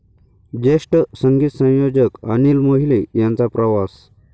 ज्येष्ठ संगीत संयोजक अनिल मोहिले यांचा प्रवास